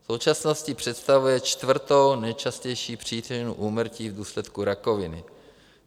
V současnosti představuje čtvrtou nejčastější příčinu úmrtí v důsledku rakoviny.